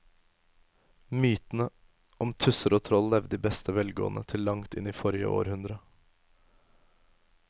Mytene om tusser og troll levde i beste velgående til langt inn i forrige århundre.